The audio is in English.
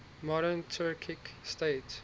modern turkic states